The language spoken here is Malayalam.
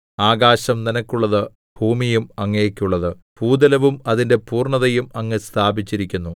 ആകാശം നിനക്കുള്ളത് ഭൂമിയും അങ്ങേക്കുള്ളത് ഭൂതലവും അതിന്റെ പൂർണ്ണതയും അങ്ങ് സ്ഥാപിച്ചിരിക്കുന്നു